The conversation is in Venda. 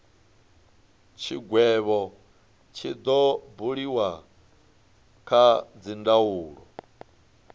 tshigwevho tshi do buliwa kha dzindaulo